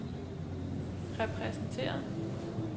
repræsenteret